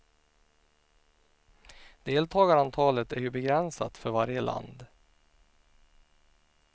Deltagarantalet är ju begränsat för varje land.